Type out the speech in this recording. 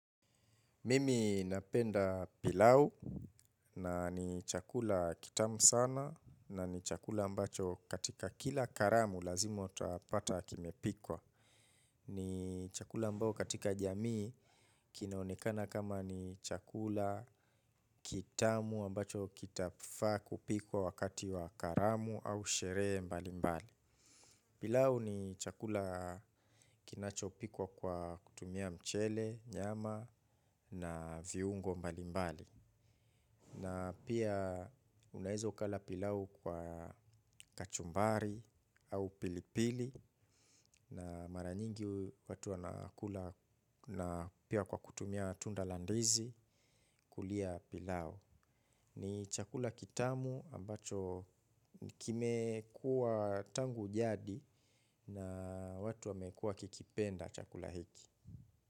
Mimi napenda pilau na ni chakula kitamu sana na ni chakula ambacho katika kila karamu lazima utapata kikipikwa. Ni chakula ambayo katika jamii kinaonekana kama ni chakula kitamu ambacho kitafaa kupikwa wakati wa karamu au sherehe mbali mbali. Pilau ni chakula kinacho pikwa kwa kutumia mchele, nyama na viungo mbali mbali. Na pia unaweza ukala pilau kwa kachumbari au pilipili na mara nyingi watu wanakula na pia kwa kutumia tunda la ndizi kulia pilau. Ni chakula kitamu ambacho kimekuwa tangu jadi na watu wamekuwa wakikipenda chakula hiki.